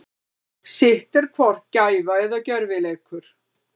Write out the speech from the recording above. Sitt er hvort gæfa eða gjörvileikur.